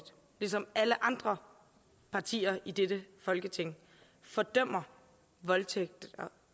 ligesom alle andre partier i dette folketing fordømmer voldtægt